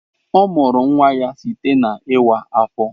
Ọ mụrụ nwa ya site na iwa afo.